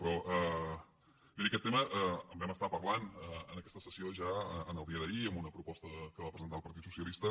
però miri d’aquest tema en vam parlar en aquesta sessió ja en el dia d’ahir amb una proposta que va presentar el partit socialista